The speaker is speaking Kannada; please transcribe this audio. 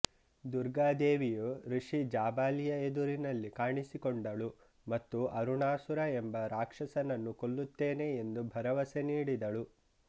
ದುರ್ಗಾ ದೇವಿಯು ಋಷಿ ಜಾಬಾಲಿಯ ಎದುರಿನಲ್ಲಿ ಕಾಣಿಸಿಕೊಂಡಳು ಮತ್ತು ಅರುಣಾಸುರ ಎಂಬ ರಾಕ್ಷಸನನ್ನು ಕೊಲ್ಲುತ್ತೇನೆ ಎಂದು ಭರವಸೆ ನೀಡಿದಳು